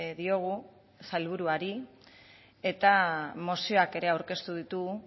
diogu sailburuari eta mozioak ere aurkeztu ditugu